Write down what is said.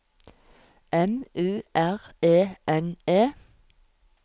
M U R E N E